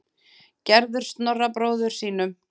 Gerður Snorra bróður sínum.